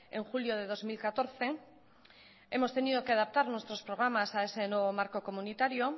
en julio de dos mil catorce hemos tenido que adaptar nuestros programas a ese nuevo marco comunitario